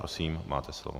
Prosím, máte slovo.